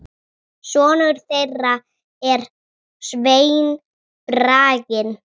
Sonur þeirra er Sveinn Bragi.